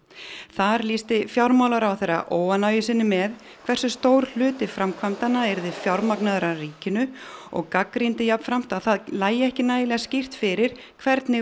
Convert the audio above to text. þar lýsti fjármálaráðherra óánægju sinni með hversu stór hluti framkvæmdanna yrði fjármagnaður af ríkinu og gagnrýndi jafnframt að það lægi ekki nægilega skýrt fyrir hvernig